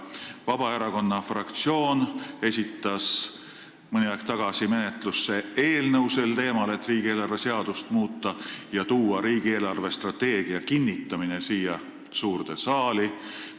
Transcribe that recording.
Vabaerakonna fraktsioon esitas mõni aeg tagasi menetlusse eelnõu sel teemal, et muuta riigieelarve seadust ja tuua riigi eelarvestrateegia kinnitamine siia suurde saali.